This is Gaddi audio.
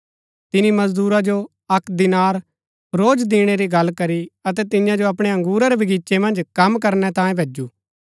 तिनी मजदूरा जो अक्क दीनार रोज दिणै री गल्ल करी अतै तियां जो अपणै बगीचे मन्ज कम करनै तांयें भैजु